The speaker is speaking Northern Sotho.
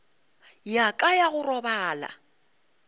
ya ka ya go robala